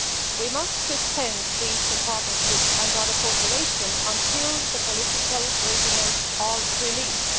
We must suspend the Eastern Partnership and other cooperation until the political prisoners are released.